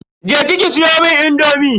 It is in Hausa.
Je ki ki siyomun indomi.